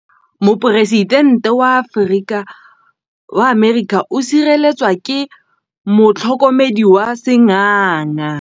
Poresitêntê wa Amerika o sireletswa ke motlhokomedi wa sengaga.